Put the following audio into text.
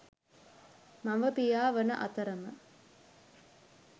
මව, පියා වන අතරම